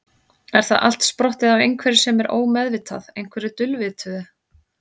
Er það allt sprottið af einhverju sem er ómeðvitað, einhverju dulvituðu?